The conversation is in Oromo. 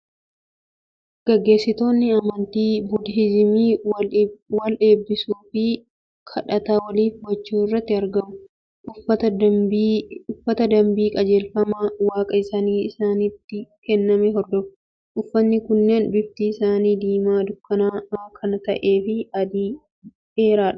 Gaggeessitoonni amantii budihiizimii wal eebbisuu fi kadhata waliif gochuu irratti argamu. Uffata dambii qajeelfama waaqa isaaniin isaanitti kenname hordofu. Uffatni kunneen bifti isaanii diimaa dukkanaa'aa kana ta'ee fi adii dheeraadha.